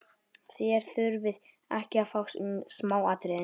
Þér þurfið ekki að fást um smáatriðin.